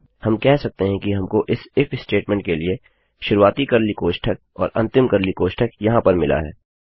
हम कह सकते हैं कि हमको इस इफ statementस्टेटमेंट के लिए शुरुआती कर्ली कोष्ठक और अंतिम कर्ली कोष्ठक यहाँ पर मिला है